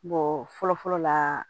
fɔlɔ fɔlɔ la